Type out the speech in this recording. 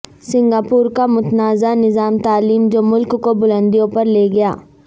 Singapore کا متنازع نظام تعلیم جو ملک کو بلندیوں پر لے گیا